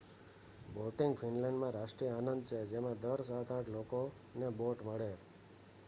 boating ફિનલેન્ડમાં રાષ્ટ્રીય આનંદ છે જેમાં દર સાત-આઠ લોકોને બોટ મળે